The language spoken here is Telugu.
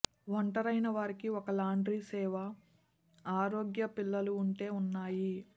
ఒంటరైన వారికి ఒక లాండ్రీ సేవ ఆరోగ్య పిల్లలు ఉంటే ఉన్నాయి